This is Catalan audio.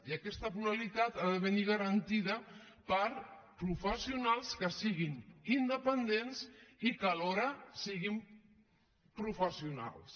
i aquesta pluralitat ha de venir garantida per professionals que siguin independents i que alhora siguin professionals